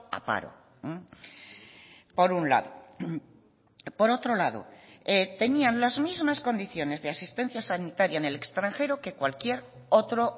a paro por un lado por otro lado tenían las mismas condiciones de asistencia sanitaria en el extranjero que cualquier otro